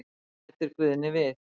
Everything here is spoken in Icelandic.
Bætir Guðni við.